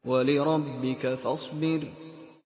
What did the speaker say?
وَلِرَبِّكَ فَاصْبِرْ